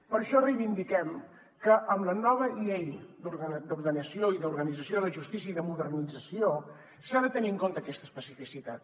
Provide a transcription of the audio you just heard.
per això reivindiquem que en la nova llei d’ordenació i d’organització de la justícia i de modernització s’ha de tenir en compte aquesta especificitat